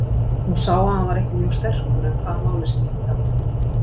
Hún sá að hann var ekki mjög sterkur en hvaða máli skipti það?